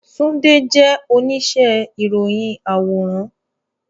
Tunde jẹ onise iroyin aworan